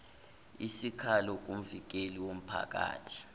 isikhalo kumvikeli womphakathi